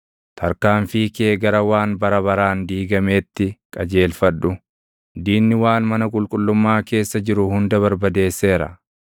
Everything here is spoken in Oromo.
Tarkaanfii kee gara waan bara baraan diigameetti qajeelfadhu; diinni waan mana qulqullummaa keessa jiru hunda barbadeesseera.